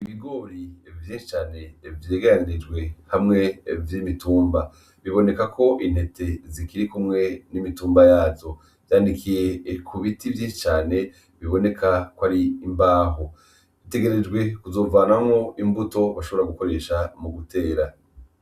Ibigori vyinshi cane vyegeranirijwe hamwe vy’imitumba. Biboneka ko intete zikiri kumwe n’Imitumba yazo , vyaninikiye ku biti vyinshi cane biboneka ko ari imbaho bitegerejwe kuzovanamwo imbuto bashobora gukoresha mu gutera.